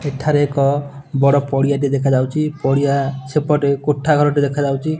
ଏଠାରେ ଏକ ବଡ ପଡ଼ିଆ ଟେ ଦେଖା ଯାଉଚି ପଡ଼ିଆ ସେପଟେ କୋଠା ଘର ଟେ ଦେଖା ଯାଉଚି ।